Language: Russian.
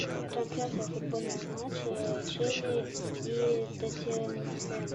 трансляция футбольного матча чили и тоттенхэм